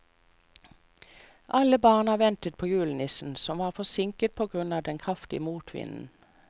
Alle barna ventet på julenissen, som var forsinket på grunn av den kraftige motvinden.